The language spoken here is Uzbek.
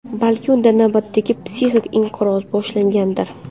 Balki unda navbatdagi psixik-inqiroz boshlangandir?